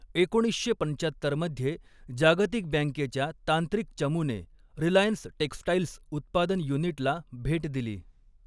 एकोणीसशे पंचात्तर मध्ये, जागतिक बँकेच्या तांत्रिक चमूने 'रिलायन्स टेक्सटाइल्स' उत्पादन युनिटला भेट दिली.